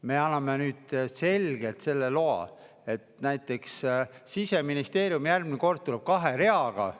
Me anname nüüd selgelt selle loa, et näiteks Siseministeerium järgmine kord tuleb kahe reaga.